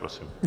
Prosím.